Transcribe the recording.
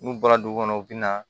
N'u bɔra dugu kɔnɔ u bɛ na